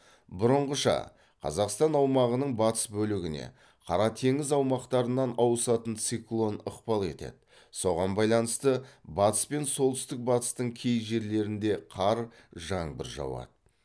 бұрынғыша қазақстан аумағының батыс бөлігіне қара теңіз аумақтарынан ауысатын циклон ықпал етеді соған байланысты батыс пен солтүстік батыстың кей жерлеріңде қар жаңбыр жауады